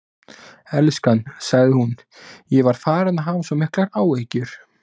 Elskan, sagði hún, ég var farin að hafa svo miklar áhyggjur.